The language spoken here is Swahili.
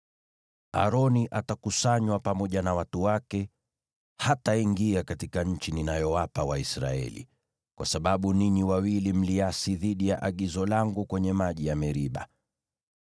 “Aroni atakusanywa pamoja na watu wake. Hataingia katika nchi ninayowapa Waisraeli, kwa sababu ninyi wawili mliasi dhidi ya agizo langu kwenye maji ya Meriba.